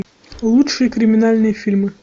лучшие криминальные фильмы